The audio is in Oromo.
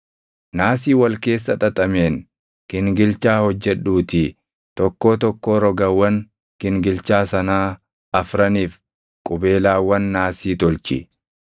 Naasii wal keessa xaxameen gingilchaa hojjedhuutii tokkoo tokkoo rogawwan gingilchaa sanaa afraniif qubeelaawwan naasii tolchi.